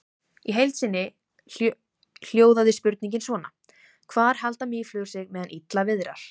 Í heild sinni hljóðaði spurningin svona: Hvar halda mýflugur sig meðan illa viðrar?